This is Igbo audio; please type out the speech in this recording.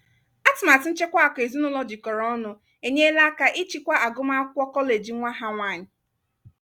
atụmatụ nchekwa akụ ezinụlọ jikọrọ ọnụ enyela aka ịchịkwa agụmakwụkwọ kọleji nwa ha nwanyị.